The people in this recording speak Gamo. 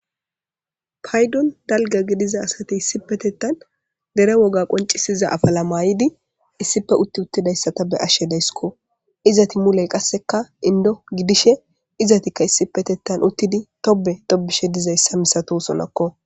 Paydon dalga gidiza asati issipetettan dere woga qoncisiza afala maayidi issife utti uttidayssa ta be ashshe daysiko. Izati muley qasseka indo gidishe izatikka issipetettan uttidi tobe tobishe dizayssa misatosonakko.